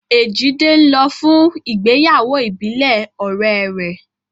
Èjìdé ń lọ fún ìgbéyàwó ìbílẹ̀ ọ̀rẹ́ rẹ̀